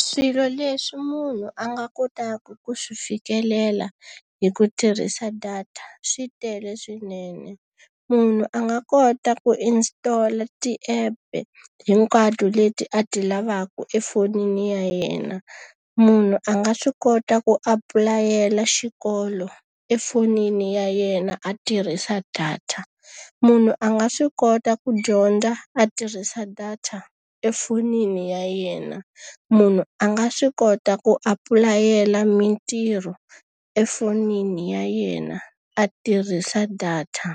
Swilo leswi munhu a nga kotaka ku swi fikelela hi ku tirhisa data swi tele swinene. Munhu a nga kota ku install-a ti-app hinkwato leti a ti lavaka efonini ya yena. Munhu a nga swi kota ku apulayela xikolo efonini ya yena a tirhisa data. Munhu a nga swi kota ku dyondza a tirhisa data efonini ya yena. Munhu a nga swi kota ku apulayela mitirho efonini ya yena, a tirhisa data.